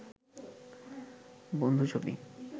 বন্ধু ছবি